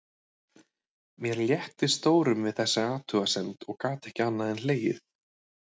Mér létti stórum við þessa athugasemd og gat ekki annað en hlegið.